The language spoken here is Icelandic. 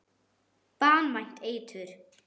Banvænt eitur.